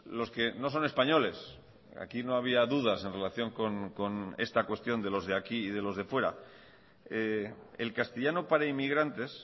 los que no son españoles aquí no había dudas en relación con esta cuestión de los de aquí y de los de fuera el castellano para inmigrantes